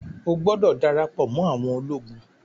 o gbódò darapo mọ àwọn ológun!